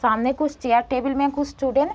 सामने कुछ chair table में कुछ स्टुडेंट --